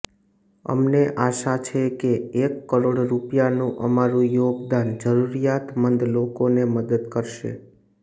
અમને આશા છે કે એક કરોડ રૂપિયાનું અમારું યોગદાન જરૂરિયાતમંદ લોકોને મદદ કરશે